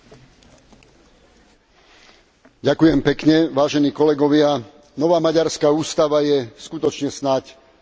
Vážení kolegovia, nová maďarská ústava je skutočne snáď najreakčnejšou ústavou v Európe.